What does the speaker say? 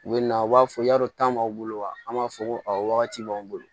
U bɛ na u b'a fɔ y'a dɔn tan b'aw bolo wa an b'a fɔ ko wagati b'anw bolo